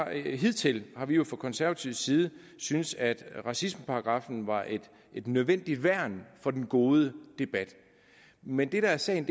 hidtil har vi jo fra konservatives side syntes at racismeparagraffen var et nødvendigt værn for den gode debat men det der er sagen